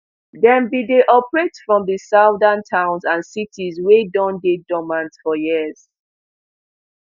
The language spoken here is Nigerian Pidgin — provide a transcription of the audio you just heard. dem bin dey operate from di southern towns and cities wey don dey dormant for years